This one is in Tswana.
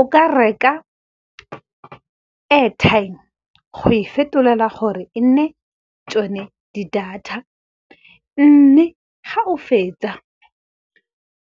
O ka reka airtime go e fetolela gore e nne tsone di-data. Mme ga o fetsa